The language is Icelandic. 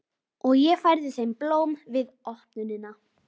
Og ég færði þeim blóm við opnunina.